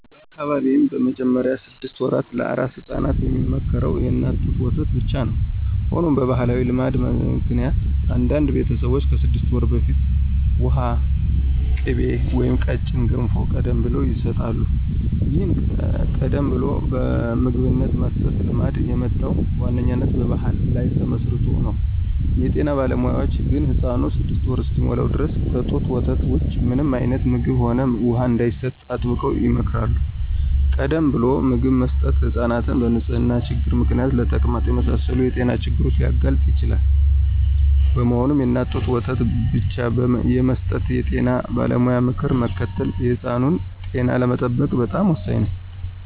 በአካባቢዬ በመጀመሪያዎቹ ስድስት ወራት ለአራስ ሕፃናት የሚመከረው የእናት ጡት ወተት ብቻ ነው። ሆኖም በባሕላዊ ልማድ ምክንያት አንዳንድ ቤተሰቦች ከስድስት ወር በፊት ውሃ፣ ቅቤ ወይም ቀጭን ገንፎ ቀደም ብለው ይሰጣሉ። ይህን ቀደም ብሎ ምግብ የመስጠት ልማድ የመጣው በዋነኛነት በባሕል ላይ ተመስርቶ ነው። የጤና ባለሙያዎች ግን ሕፃኑ ስድስት ወር እስኪሞላው ድረስ ከጡት ወተት ውጪ ምንም አይነት ምግብም ሆነ ውሃ እንዳይሰጥ አጥብቀው ይመክራሉ። ቀደም ብሎ ምግብ መስጠት ሕፃናትን በንጽህና ችግር ምክንያት ለተቅማጥ የመሳሰሉ የጤና ችግሮች ሊያጋልጥ ይችላል። በመሆኑም፣ የእናት ጡት ወተት ብቻ የመስጠት የጤና ባለሙያዎችን ምክር መከተል የሕፃኑን ጤና ለመጠበቅ በጣም ወሳኝ ነው።